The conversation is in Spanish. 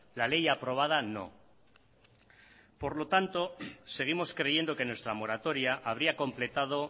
la ley aprobada no por lo tanto seguimos creyendo que nuestra moratoria habría completado